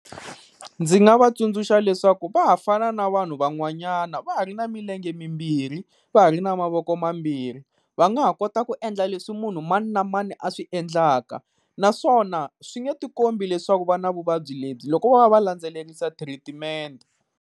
Ndzi nga va tsundzuxa leswaku va ha fana na vanhu van'wanyana, va ha ri na milenge mimbirhi, va ha ri na mavoko mambirhi. Va nga ha kota ku endla leswi munhu mani na mani a swi endlaka, naswona swi nge tikombi leswaku va na vuvabyi lebyi loko vo va va landzelerisa treatment.